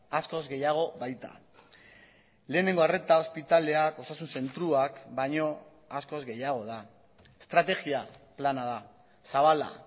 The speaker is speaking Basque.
askoz gehiago baita lehenengo arreta ospitaleak osasun zentroak baino askoz gehiago da estrategia plana da zabala